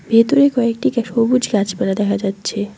ভেতরে কয়েক ডিকে সবুজ গাছপালা দেখা যাচ্ছে।